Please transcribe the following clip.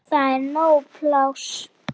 Það er nóg pláss.